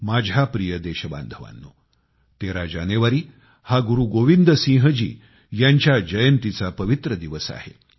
माझ्या प्रिय देशबांधवांनो 13 जानेवारी हा गुरु गोबिंद सिंह जी यांच्या जयंतीचा पवित्र दिवस आहे